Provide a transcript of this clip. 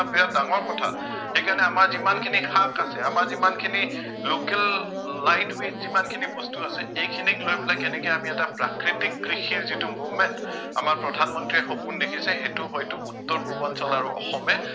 সেইকাৰণে আমাৰ যিমানখিনি শাক আছে, আমাৰ যিমানখিনি local light weight যিমানখিনি বস্তু আছে এইখিনিক লৈ পেলাই কেনেকে আমি এটা প্ৰাকৃতিক কৃষিৰ যিটো movement আমাৰ প্ৰধান মন্ত্ৰীয়ে সপোন দেখিছে সেইটো হয়তো উত্তৰ পূৰ্বাঞ্চল আৰু অসমে